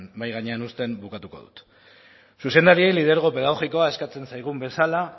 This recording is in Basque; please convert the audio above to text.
mahai gainean uzten bukatuko dut zuzendariei lidergo pedagogikoa eskatzen zaigun bezala